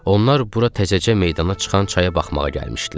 Onlar bura təzəcə meydana çıxan çaya baxmağa gəlmişdilər.